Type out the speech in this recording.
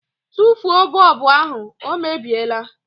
Tụfuo bọlbụ ahụ, ọ mebiela